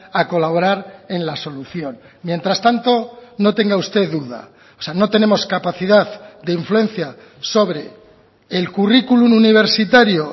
a colaborar en la solución mientras tanto no tenga usted duda o sea no tenemos capacidad de influencia sobre el currículum universitario